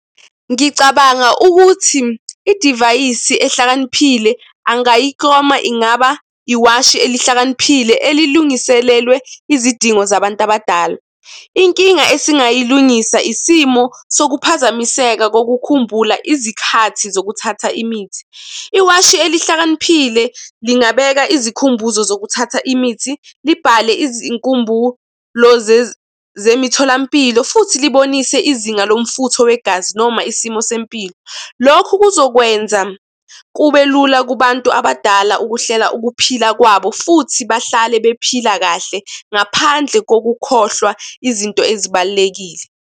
Ngicabanga ukuthi idivayisi ehlakaniphile angayiklama ingaba iwashi elihlakaniphile, elilungiselelwe izidingo zabantu abadala. Inkinga esingayilungisa isimo sokuphazamiseka sokukhumbula izikhathi zokuthatha imithi. Iwashi elihlakaniphile lingabeka izikhumbuzo zokuthatha imithi, libhale izinkumbulo zemitholampilo, futhi libonise izinga lomfutho wegazi noma isimo sempilo. Lokhu kuzokwenza kube lula kubantu abadala ukuhlela ukuphila kwabo futhi bahlale bephila kahle ngaphandle kokukhohlwa izinto ezibalulekile.